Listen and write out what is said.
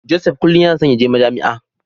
Joseph kullum yana so yaje Majami'a.